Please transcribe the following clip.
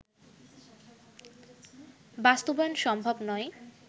বাস্তবায়ন সম্ভব নয়